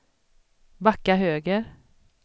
backa höger